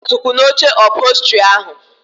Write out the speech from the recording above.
Ikenna tukwụ n'oche ụphọlstri ahụ